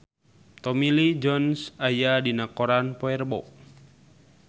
Tommy Lee Jones aya dina koran poe Rebo